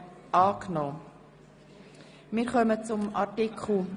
Sie haben Artikel 10 Absatz 2 angenommen.